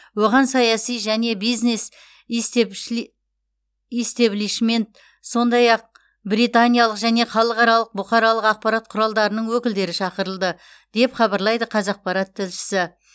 оған саяси және бизнес истеблишмент сондай ақ британиялық және халықаралық бұқаралық ақпарат құралдарының өкілдері шақырылды деп хабарлайды қазақпарат тілшісі